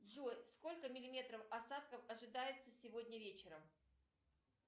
джой сколько миллиметров осадков ожидается сегодня вечером